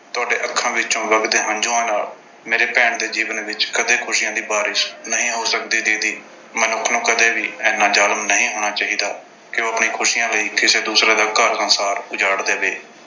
ਤੁਹਾਡੀਆਂ ਅੱਖਾਂ ਵਿੱਚੋਂ ਵਗਦੇ ਹੰਝੂਆਂ ਨਾਲ ਮੇਰੀ ਭੈਣ ਦੇ ਜੀਵਨ ਵਿੱਚ ਕਦੇ ਖੁਸ਼ੀਆਂ ਦੀ ਬਾਰਿਸ਼ ਨਹੀਂ ਹੋ ਸਕਦੀ ਦੀਦੀ। ਮਨੁੱਖ ਨੂੰ ਕਦੇ ਵੀ ਇੰਨਾ ਜ਼ਾਲਮ ਨਹੀਂ ਹੋਣਾ ਚਾਹੀਦਾ ਕਿ ਉਹ ਆਪਣੀਆਂ ਖੁਸ਼ੀਆਂ ਲਈ ਕਿਸੇ ਦੂਸਰੇ ਦਾ ਘਰ-ਸੰਸਾਰ ਉਜਾੜ ਦੇਵੇ।